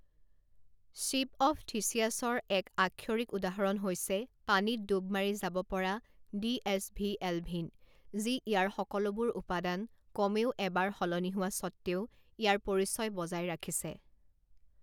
Ship of থিচিয়াছৰ এক আক্ষৰিক উদাহৰণ হৈছে পানীত ডুব মাৰি যাব পৰা ডি এছ ভি এলভিন, যি ইয়াৰ সকলোবোৰ উপাদান কমেও এবাৰ সলনি হোৱা স্বত্বেও ইয়াৰ পৰিচয় বজাই ৰাখিছে।